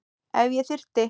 Ef ég þyrfti.